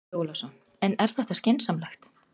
Andri Ólafsson: En er þetta skynsamlegt?